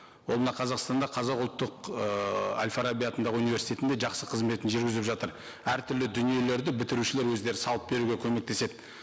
ол мына қазақстанда қазақ ұлттық ыыы әл фараби атындағы универститетінде жақсы қызметін жүргізіп жатыр әртүрлі дүниелерді бітірушілер өздері салып беруге көмектеседі